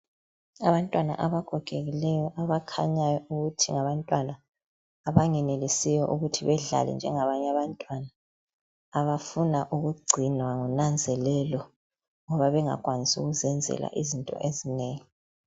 Abantwana abagogekileyo abakhanyayo ukuthi ngabatwana abangenelisiyo ukuthi bedlale njengabanye abantwana abafuna ukugcinwa ngonanzelelo ngoba bengakwanisi ukuzenzela izinto ezinengi